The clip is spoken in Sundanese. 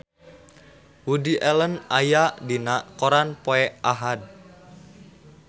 Woody Allen aya dina koran poe Ahad